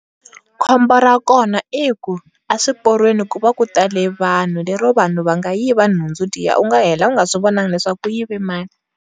khombo ra kona i ku a swi porweni ku va ku tale vanhu le ro vanhu va nga yi va nhundzu liya u nga hela u nga swi vonangi leswaku ku yive mani.